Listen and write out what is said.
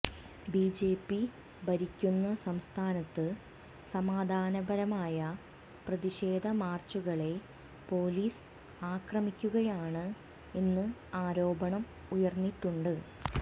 BJP ഭരിക്കുന്ന സംസ്ഥാനത്ത് സമാധാനപരമായ പ്രതിഷേധ മാര്ച്ചുകളെ പോലീസ് ആക്രമിക്കുകയാണ് എന്ന് ആരോപണം ഉയര്ന്നിട്ടുണ്ട്